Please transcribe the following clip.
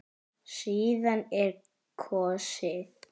Síðan er kosið.